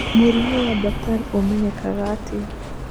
Mũrimũ wa Bartter ũmenyekaga atĩa?